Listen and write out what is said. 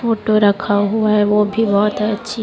photo रखा हुआ है वो भी बहोत अच्छी--